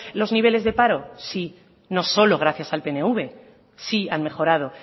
los niveles de paro sí no solo gracias al pnv sí han mejorado